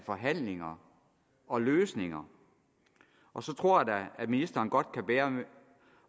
forhandlinger og løsninger og så tror jeg da at ministeren godt kan bære